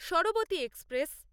Sharbati express